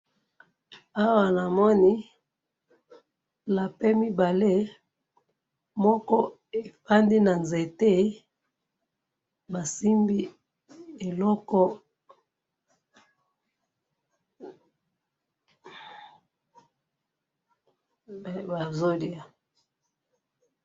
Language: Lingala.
awa namoni lapin mibale moko efandi na nzete basimbi eloko, bazolya